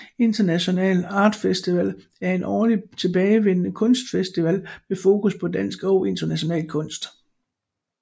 International Art Festival er en årlig tilbagevendende kunstfestival med fokus på dansk og international kunst